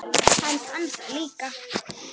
Hann fann það líka.